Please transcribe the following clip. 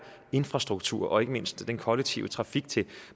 infrastruktur og ikke mindst den kollektive trafik til